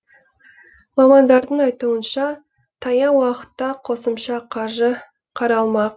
мамандардың айтуынша таяу уақытта қосымша қаржы қаралмақ